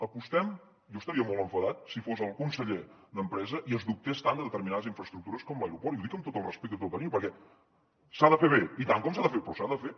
apostem jo estaria molt enfadat si fos el conseller d’empresa i es dubtés tant de determinades infraestructures com l’aeroport i ho dic amb tot el respecte i tot el carinyo perquè s’ha de fer bé i tant que s’ha de fer però s’ha de fer